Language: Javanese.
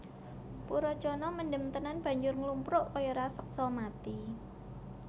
Purocana mendem tenan banjur nglumpruk kaya raseksa mati